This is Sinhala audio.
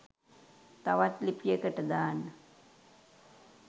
තවත් ලිපියකට දාන්න